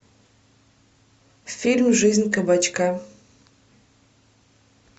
фильм жизнь кабачка